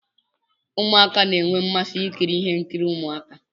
Ụmụaka na enwe mmasị ikiri ihe nkiri Ụmụaka.